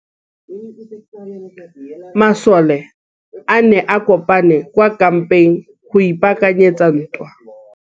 Masole a ne a kopane kwa kampeng go ipaakanyetsa ntwa.